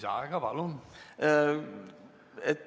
Lisaaeg, palun!